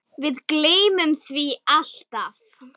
Við gleymum því alltaf